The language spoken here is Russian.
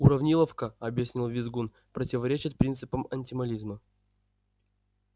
уравниловка объяснил визгун противоречит принципам антимализма